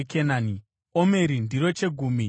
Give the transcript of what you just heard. (Omeri ndiro chegumi cheefa.)